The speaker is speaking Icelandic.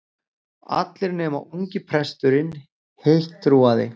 Allir nema ungi presturinn heittrúaði.